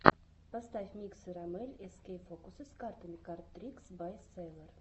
поставь миксы роммель эскей фокусы с картами кард трикс бай сэйлор